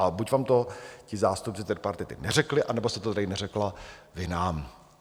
A buď vám to ti zástupci tripartity neřekli, anebo jste to tady neřekla vy nám.